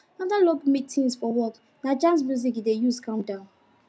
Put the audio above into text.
after long meetings for work na jazz music he dey use calm down